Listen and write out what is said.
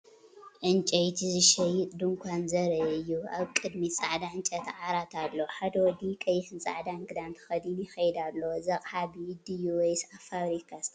ዕንጨይቲ ዝሸይጥ ድኳን ዘርኢ እዩ። ኣብ ቅድሚት ጻዕዳ ዕንጨይቲ ዓራት ኣሎ። ሓደ ወዲ ቀይሕን ጻዕዳን ክዳን ተኸዲኑ ይኸይድ ኣሎ። እዚ ኣቕሓ ብኢድ ድዩ ወይስ ኣብ ፋብሪካ ዝተሰርሐ?